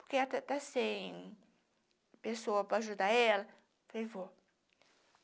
porque está está sem pessoa para ajudar ela, eu falei, vou.